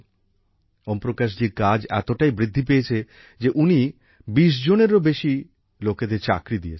ওম প্রকাশ জির কাজ এতটাই বৃদ্ধি পেয়েছে যে উনি ২০জনেরও বেশি লোকেদের চাকরি দিয়েছেন